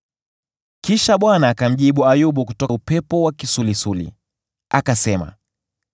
Kisha Bwana akamjibu Ayubu kutoka upepo wa kisulisuli. Akasema: